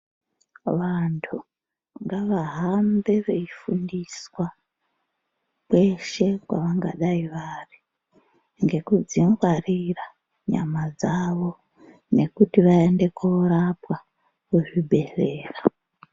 Vandu ngavahambe veifundiswa kweshe kwavangai vari ngekudzi ngwarira nyama dzawo ngekuti vaende koorapwa kuzvibhedhlera.